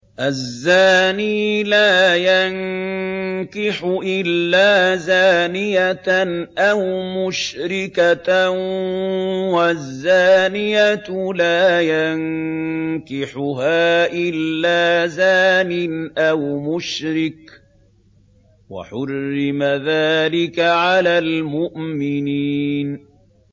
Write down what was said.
الزَّانِي لَا يَنكِحُ إِلَّا زَانِيَةً أَوْ مُشْرِكَةً وَالزَّانِيَةُ لَا يَنكِحُهَا إِلَّا زَانٍ أَوْ مُشْرِكٌ ۚ وَحُرِّمَ ذَٰلِكَ عَلَى الْمُؤْمِنِينَ